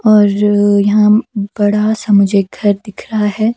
और यहां बड़ा सा मुझे घर दिख रहा है।